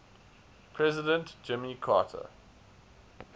president jimmy carter